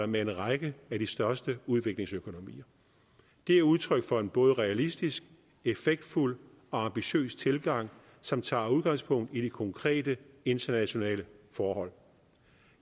med en række af de største udviklingsøkonomier det er udtryk for en både realistisk effektfuld og ambitiøs tilgang som tager udgangspunkt i de konkrete internationale forhold